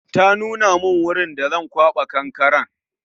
Ta nuna min wurin da Zan kwaba kankaren